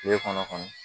Tile kɔnɔ kɔni